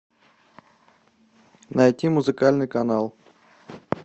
найти музыкальный канал